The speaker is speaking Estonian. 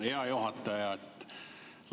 Hea juhataja!